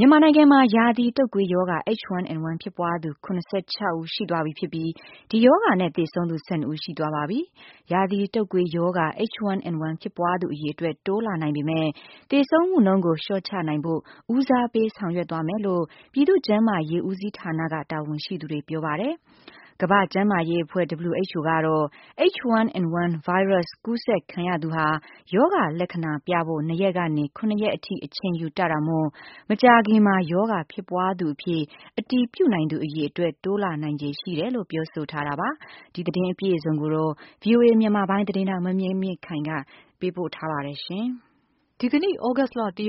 မြန်မာနိုင်ငံမှာ ရာသီတုပ်ကွေးရောဂါ H1N1 ဖြစ်ပွားသူ ၇၆ဦး ရှိသွားပြီ ဖြစ်ပြီး ဒီရောဂါနဲ့ သေဆုံးသူ ၁၂ ဦး ရှိသွားပါပြီ။ ရာသီတုပ်ကွေးရောဂါ H1N1 ဖြစ်ပွားသူ အရေအတွက် တိုးလာနိုင်ပေမယ့် သေဆုံးမှုနှုန်း ကို လျှော့ချနိုင်ဖို့ ဦးစားပေး ဆောင်ရွက်သွားမယ်လို့ ပြည်သူ့ ကျန်းမာရေး ဦးစီးဌာနက တာဝန်ရှိသူက ပြောပါတယ်။ ကမ္ဘာ့ကျန်းမာရေးအဖွဲ့ WHO ကတော့ H1N1 ဗိုင်းရပ်စ် ကူးစက်ခံရသူဟာ ရောဂါ လက္ခ ဏာပြဖို့ ၂ရက်ကနေ ၇ရက်အထိ အချိန်ယူတတ်တာမို့ မကြာခင်မှာ ရောဂါဖြစ်ပွားသူအဖြစ် အတည်ပြုနိုင်သူ အရေအတွက် တိုးလာနိုင် ခြေရှိတယ်လို့ ပြောဆိုထားတာပါ။ သတင်း အပြည့်အစုံကိုတော့ ဗွီအိုအေ မြန်မာပိုင်း သတင်းထောက် မမြင့်မြင့်ခိုင်က ပြောပြပေးမှာပါ။ သြဂုတ်လ ၁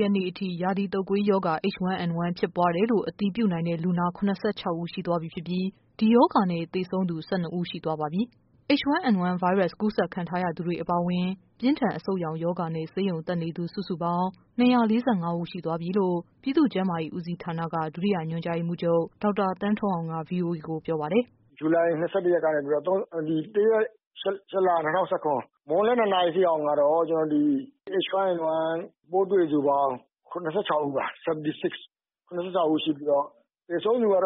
ရက်နေ့အထိ ရာသီတုပ်ကွေးရောဂါ H1N1 ဖြစ်ပွားတယ်လို့ အတည်ပြုနိုင်တဲ့ လူနာ ၇၆ဦး ရှိသွားပြီဖြစ်ပြီး ဒီရောဂါနဲ့ သေဆုံးသူ ၁၂ဦးရှိသွားပါပြီ။ H1N1 ဗိုင်းရပ်စ် ကူးစက်ခံထားရသူတွေ အပါအ ဝင် ပြင်းထန်အဆုတ်ရောင်ရောဂါနဲ့ ဆေးရုံတက်နေသူ စုစုပေါင်း ၂၄၅ရှိသွားပြီလို့ ပြည်သူ့ ကျန်းမာရေး ဦးစီးဌာနက ဒုတိယ ညွှန်ကြားရေးမှူးချုပ် ဒေါက်တာ သန်းထွန်းအောင်က ဗွီအိုအေကို ပြောပါတယ်။ “ဇူလိုင် ၂၁ ရက်ကနေပြီးတော့ ၁ ရက် ၈ လ ၂၀၁၇ မွန်းလွဲ ၂ နာရီအထိတော့ H1N1 ပိုးတွေ့သူပေါင်း ၇၆ဦး ရှိပြီး၊ သေဆုံးသူ ၁၂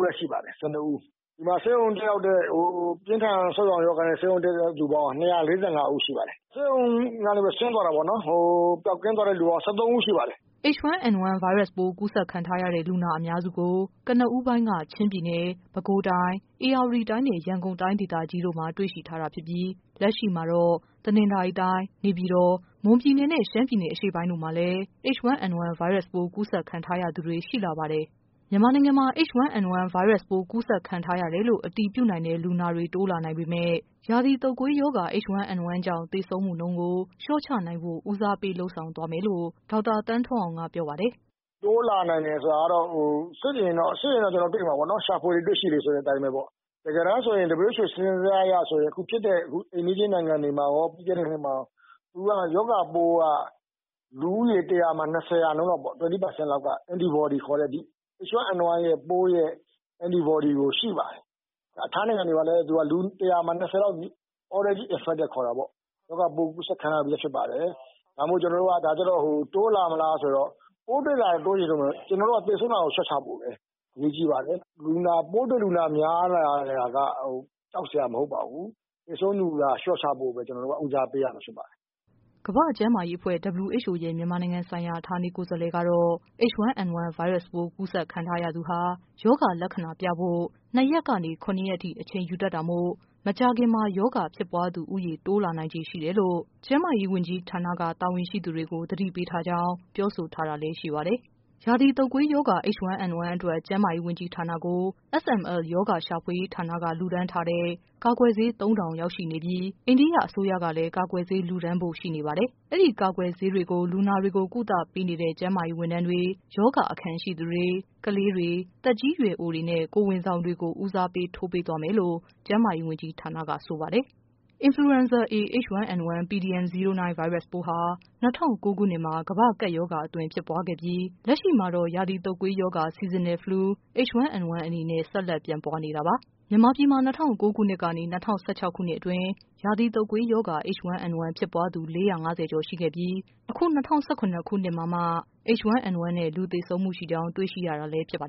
ဦးရှိပါတယ်။ ပြင်းထန်အဆုတ်ရောင်နဲ့ ဆေးရုံတက်ရောက်တာကတော့ ၂၄၅ ဦးရှိပါတယ်။ ဆေးရုံကနေ ဆင်သွားတာပေါ့နော် ပျောက်ကင်းသွားတဲ့လူကတော့ ၁၃ ဦးရှိပါတယ်။” H1N1 ဗိုင်းရပ်စ်ပိုး ကူးစက်ခံထားရတဲ့ လူနာအများစုကို ကနဦးပိုင်းက ချင်းပြည်နယ်၊ ပဲခူးတိုင်း၊ ဧရာဝ တီတိုင်းနဲ့ ရန်ကုန်တိုင်းဒေသကြီးတို့မှာ တွေ့ရှိထားတာဖြစ်ပြီး လက်ရှိမှာတော့ တနင်္သာရီတိုင်း၊ နေပြည် တော်၊ မွန်ပြည်နယ်နဲ့ ရှမ်းပြည်နယ် အရှေ့ပိုင်းတို့မှာ H1N1 ဗိုင်းရပ်စ်ပိုး ကူးစက်ခံထားရသူတွေ ရှိလာပါ တယ်။ မြန်မာနိုင်ငံမှာ H1N1 ဗိုင်းရပ်စ်ပိုး ကူးစက်ခံရတယ်လို့ အတည်ပြုနိုင်တဲ့ လူနာတွေတိုးလာနိုင်ပေမယ့် ရာသီတုပ်ကွေးရောဂါ H1N1 ကြောင့် သေဆုံးမှုနှုန်းကို လျှော့ချနိုင်ဖို့ ဦးစားပေး လုပ်ဆောင်သွားမယ်လို့ ဒေါက်တာ သန်းထွန်းအောင်က ပြောပါတယ်။ “တိုးလာနိုင်တယ်ဆိုတာကတော့ စစ်ရင်တော့ ကျနော်တို့ တွေ့မှာပေါ့နော် ရှာဖွေလေတွေ့ရှိလေပေါ့ တကယ်တမ်းဆိုရင် WHO စာရင်းဇယားအရဆိုရင် အခုဖြစ်တဲ့ အိမ်နီးချင်းနိုင်ငံတွေမှာရော ရောဂါပိုးက လူဦးရေ ၁၀၀မှာ ၂၀ ရာခိုင်နှုန်းလောက်က H1N1 ပိုးရဲ့ antibody ရှိပါတယ်။ ထိုင်းနိုင်ငံတွေမှာလည်း လူ၁၀၀မှာ ၂၀ ရာခိုင်နှုန်းလောက်က already infected ပေါ့ ရောဂါပိုးကူးစက်ခံရပြီးဖြစ်ပါတယ်။ ဒါကြောင့်မို့လို့ ကျနော်တို့က တိုးလာမလားဆိုတော့ ပိုးတွေ့လာရင်တိုးမယ်၊ ဒါပေမယ့် သေဆုံးတာကို လျှော့ချဖို့ပါပဲ အရေးကြီးပါတယ်။ ပိုးတွေ့လူနာများလာ တာက ကြောက်စရာမဟုတ်ပါဘူး။ သေဆုံးလူနာ လျှော့ချဖို့ပါပဲ ဦးစားပေးရမှာဖြစ်ပါတယ်။” ကမ္ဘာ့ကျန်းမာရေးအဖွဲ့ WHO အဖွဲ့ရဲ့ မြန်မာနိုင်ငံဆိုင်ရာ ဌာနေကိုယ်စားလှယ်ကတော့ H1N1 ဗိုင်းရပ်စ် ကူးစက်ခံရသူဟာ ရောဂါ လက္ခဏာပြဖို့ ၂ရက်ကနေ ၇ရက်အထိ အချိန်ယူတတ်တာမို့ မကြာခင်မှာ ရောဂါဖြစ်ပွားသူ ဦးရေ တိုးလာနိုင်ခြေရှိတယ်လို့ ကျန်းမာရေးဝန်ကြီးဌာနက တာဝန်ရှိသူတွေကို သတိ ပေးထားကြောင်း ပြောဆိုထားတာလဲ ရှိပါတယ်။ ရာသီတုပ်ကွေးရောဂါ H1N1 အတွက် ကျန်းမာရေးဝန်ကြီးဌာနထံကို SML ရောဂါ ရှာဖွေရေးဌာနက လှူဒါန်းထားတဲ့ ကာကွယ်ဆေး ၃၀၀၀ရောက်ရှိနေပြီး အိန္ဒိယအစိုးရကလဲ ကာကွယ်ဆေး လှူဒါန်းဖို့ရှိ နေပါတယ်။ အဲ့ဒီကာကွယ်ဆေးတွေကို လူနာတွေကို ကုသပေးနေတဲ့ ကျန်းမာရေးဝန်ထမ်းတွေ၊ ရောဂါ အခံ ရှိသူတွေ၊ ကလေးတွေ၊ သက်ကြီးရွယ်အိုတွေနဲ့ ကိုယ်ဝန်ဆောင်တွေကို ဦးစားပေး ထိုးပေးသွား မယ်လို့ ကျန်းမာရေးဝန်ကြီးဌာနက ဆိုပါတယ်။ Influenza A(H1N1) pdm09 ဗိုင်းရပ်စ်ပိုးဟာ ၂၀၀၉ ခုနှစ်မှာ ကမ္ဘာ့ကပ်ရောဂါအသွင် ဖြစ်ပွားခဲ့ပြီး လက်ရှိမှာတော့ ရာသီတုပ်ကွေးရောဂါ Seasonal Flu H1N1 အနေနဲ့ ဆက်လက်ပြန့်ပွားနေတာပါ။ မြန် မာပြည်မှာ ၂၀၀၉ ခုနှစ်ကနေ ၂၀၁၆ အတွင်း ရာသီတုပ်ကွေးရောဂါ H1N1 ဖြစ်ပွားသူ ၄၅၀ကျော် ရှိခဲ့ ပြီး အခု ၂၀၁၇ နှစ်မှာမှ H1N1 နဲ့ လူသေဆုံးမှုရှိကြောင်း တွေ့ရှိရတာလည်း ဖြစ်ပါ